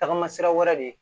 Tagama sira wɛrɛ de ye